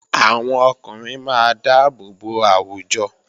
Àwọn ọkùnrin máa dáàbò bo àwùjọ